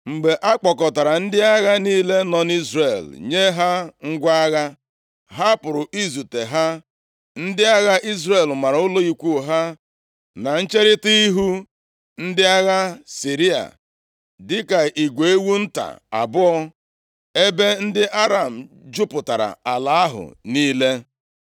Mgbe a kpọkọtara ndị agha niile nọ nʼIzrel nye ha ngwa agha, ha pụrụ izute ha. Ndị agha Izrel mara ụlọ ikwu ha na ncherita ihu ndị agha Siria, dịka igwe ewu nta abụọ, ebe ndị Aram jupụtara ala ahụ niile.